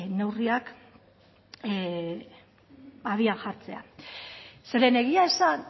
neurriak abian jartzea zeren egia esan